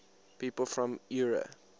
people from eure